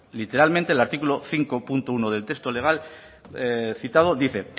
literalmente el artículo cinco punto uno del texto legal citado dice